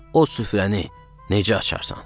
O süfrəni necə açarsan?